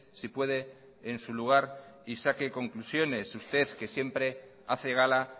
si puede en su lugar y saque conclusiones usted que siempre hace gala